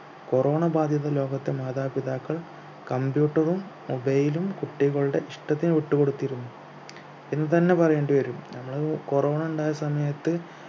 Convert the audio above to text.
corona ബാധിത ലോകത്തെ മാതാപിതാക്കൾ computer ഉം mobile ലും കുട്ടികളുടെ ഇഷ്ടത്തിന് വിട്ടു കൊടുത്തിരുന്നു എന്ന് തന്നെ പറയേണ്ടിവരും നമ്മള് corona ഇണ്ടായ സമയത്ത്